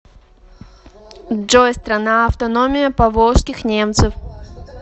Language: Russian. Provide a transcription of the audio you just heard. джой страна автономия поволжских немцев